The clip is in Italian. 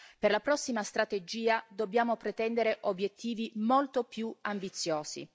Per la prossima strategia dobbiamo pretendere obiettivi molto più ambiziosi.